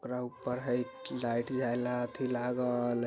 एकरा ऊपर हई लाईट जायेला अथी लागल।